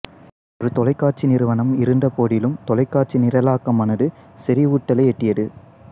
ஒரு தொலைக்காட்சி நிறுவனம் இருந்தபோதிலும் தொலைக்காட்சி நிரலாக்கமானது செறிவூட்டலை எட்டியது